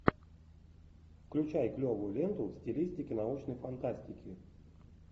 включай клевую ленту в стилистике научной фантастики